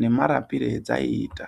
nemarapire adzaiita.